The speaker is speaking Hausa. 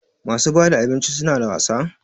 Masu bada abinci suna da wasa?